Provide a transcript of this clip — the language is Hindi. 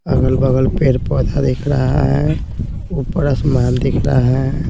अगल-बगल पेड़-पौधा दिख रहा है ऊपर आसमान दिख रहा है।